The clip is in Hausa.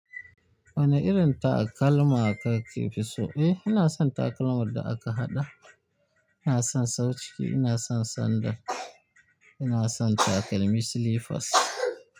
Wane irin takalma kake fi so? Eh, ina son takalman da aka haɗa. Ina son sauciki, ina son sandal, ina son takalmi slippers.